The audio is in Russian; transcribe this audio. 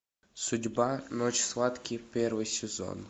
судьба ночь схватки первый сезон